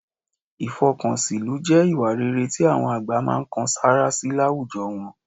Ìfọkànsìnlú jẹ́ ìwà rere tí àwọn àgbà máa ń kan sáárá sí láwùjọ wọn